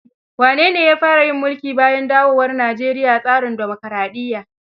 Wane ne ya fara yin mulki bayan dawowar Nijeriya tsarin dimokaraɗiyya?